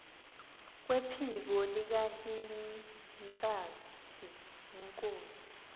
kwephiko likahintsathi inkosi